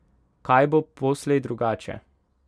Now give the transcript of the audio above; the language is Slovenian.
Kaj bo poslej drugače?